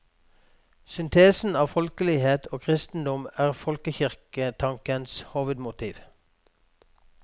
Syntesen av folkelighet og kristendom er folkekirketankens hovedmotiv.